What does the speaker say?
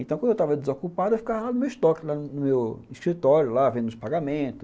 Então, quando eu estava desocupado, eu ficava lá no meu estoque, no meu escritório lá, vendo uns pagamentos.